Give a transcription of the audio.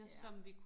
Ja